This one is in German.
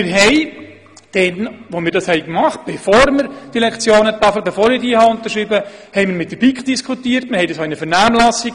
Wir haben dies mit der BiK diskutiert und es in die Vernehmlassung gegeben, bevor wir die Lektionentafel beschlossen haben.